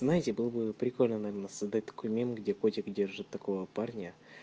понимаете было бы прикольно наверно создать такой мем где котик держит такого парня